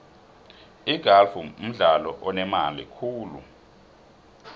igalfu mdlalo onemali khulu